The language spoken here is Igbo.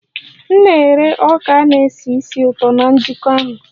M na-ere ọka a na-esi ísì ụtọ na njikọ ahụ